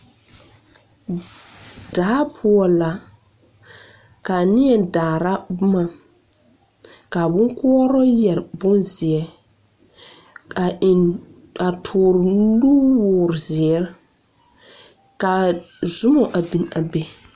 Daa poɔ la ka neɛ daara boma ka a boŋkoɔrɔ yɛre bonzeɛ a eŋ a tuuri nuwɔɔre zeere ka zuma a biŋ be.